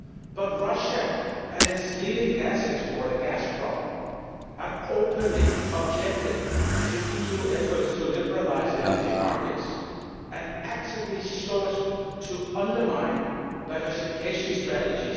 But Russia and its leading gas exporter, Gazprom, have openly objected to EU efforts to liberalise energy markets and actively sought to undermine the diversification strategy.